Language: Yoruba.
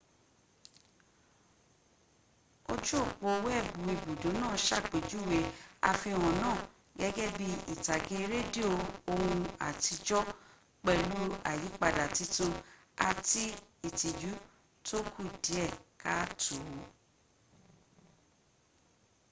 ojú ọ̀pọ́ weebu ibùdó náà sàpéjúwẹ àfíhàn náà gẹ́gẹ́ bi ìtàgé rédíò ohun àtíjò pèlú àyípadà titun àti ìtìjú tó kù dìé kááto.